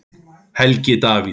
Helgi Davíð.